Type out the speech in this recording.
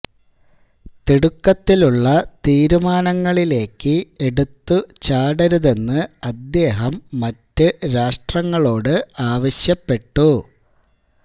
തിടുക്കത്തിലുള്ള തീരുമാനങ്ങളിലേക്ക് എടുത്തു ചാടരുതെന്ന് അദ്ദേഹം മറ്റു രാഷ്ട്രങ്ങളോട് ആവശ്യപ്പെട്ടു